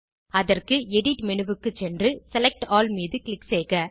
அதற்கு எடிட் menuக்கு சென்று செலக்ட் ஆல் மீது க்ளிக் செய்க